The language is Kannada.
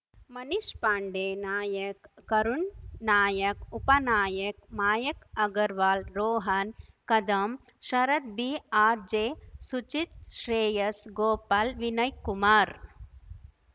ಮನೀಶ್‌ ಪಾಂಡೆ ನಾಯಕ್ ಕರುಣ್‌ ನಾಯಕ್ ಉಪನಾಯಕ್ ಮಾಯಕ್‌ ಅಗರ್‌ವಾಲ್‌ ರೋಹನ್‌ ಕದಂ ಶರತ್‌ ಬಿಆರ್‌ ಜೆಸುಚಿತ್‌ ಶ್ರೇಯಸ್‌ ಗೋಪಾಲ್‌ ವಿನಯ್‌ ಕುಮಾರ್